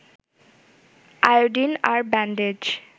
iodine আর bandage